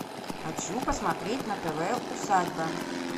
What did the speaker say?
хочу посмотреть на тв усадьба